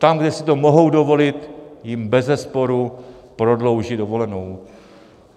Tam, kde si to mohou dovolit, jim bezesporu prodlouží dovolenou.